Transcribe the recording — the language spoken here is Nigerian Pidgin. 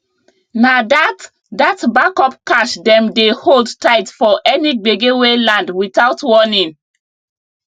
na that that backup cash dem dey hold tight for any gbege wey land without warning